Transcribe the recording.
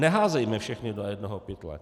Neházejme všechny do jednoho pytle.